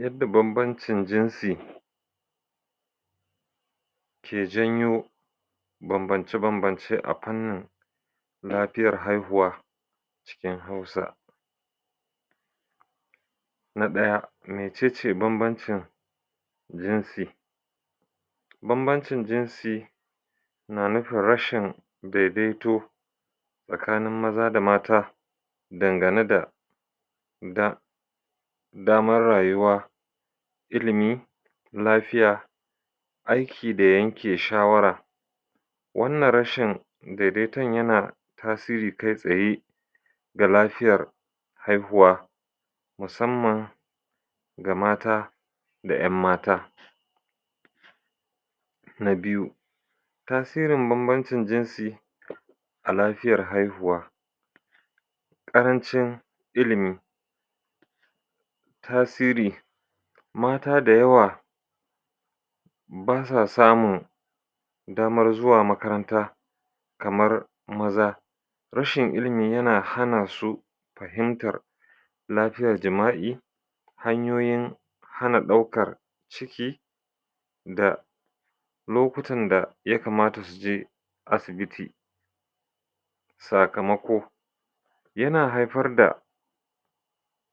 Yadda banbancin jinsi ke janyo banbance-banbance a fannin lafiyar haihuwa cikin Hausa na ɗaya mece ce banbancin jinsi banbancin jinsi na nufin rashin daidaito tsakanin maza da mata dangane da da damar rayuwa ilimi lafiya aiki da yake shawara wannan rashin daidaiton yana tasiri kai tsaye ga lafiyar haihuwa musamman ga mata da ƴan mata na biyu, tasirin banbancin jinsi a lafiyar haihuwa ƙarancin ilimi tasiri mata da yawa basa samun damar zuwa makaranta kamar maza rashin ilimi yana hana sa fahimtar lafiyar jima'i hanyoyin hana ɗaukar ciki da lokutan da yakamata suje asibiti sakamako yana haifar da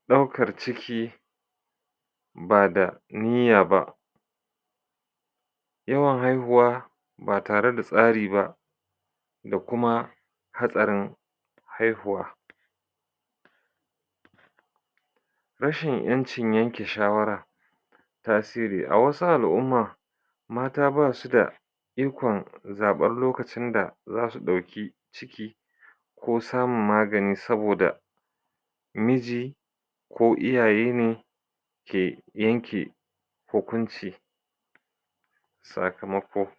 ɗaukar ciki ba da niyya ba yawan haihuwa ba tare da tsari ba da kuma hatsarin haihuwa rashin ƴancin yanke shawara tasiri a wasu al'umma mata basu da ikon zaɓar lokacin da zasu ɗauki ciki ko samun magani saboda miji ko iyaye ne ke yanke hukunci sakamako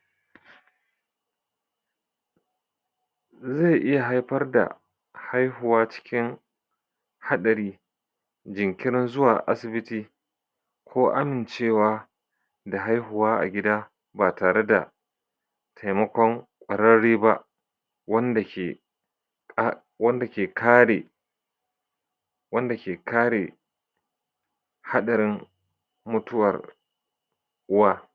ze iya haifar da haihuwa cikin haɗari jinkirin zuwa asibiti ko amincewa da haihuwa a gida ba tare da taimakon ƙwararre ba wanda ke wanda ke kare wanda ke kare haɗarin mutuwar wa.